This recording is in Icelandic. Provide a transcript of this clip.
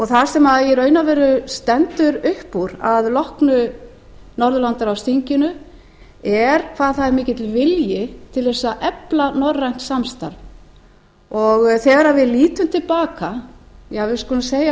það sem í raun og veru stendur upp úr að loknu norðurlandaráðsþinginu er hvað það er mikill vilji til þess að efla norrænt samstarf þegar við lítum til baka við skulum segja